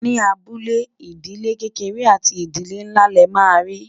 ní abúlé, ìdílé kéké àti nínlá lè má ri